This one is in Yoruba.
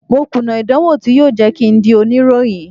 Mo kùnà ìdánwò tí yóò jẹ́ kín ń di oníròyìn.